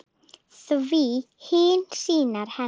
Því hinir synir hennar